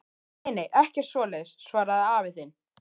Nei nei, ekkert svoleiðis, svaraði afi þinn.